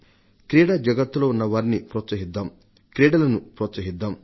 క్రీడా జగత్తులో ఉన్నవారిని ప్రోత్సహిద్దాం క్రీడాకారులను ప్రోత్సహిద్దాం